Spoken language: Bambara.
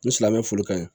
N silamɛ fo ka ɲin